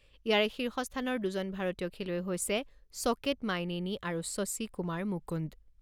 ইয়াৰে শীৰ্ষ স্থানৰ দুজন ভাৰতীয় খেলুৱৈ হৈছে ছ'কেট মাইনেনী আৰু শশী কুমাৰ মুকুন্দ।